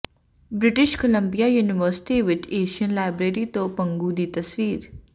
British Columbia university ਵਿਚ Asian library ਤੋਂ ਪੰਗੂ ਦੀ ਤਸਵੀਰ